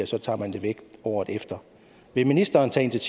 så tage det væk året efter vil ministeren tage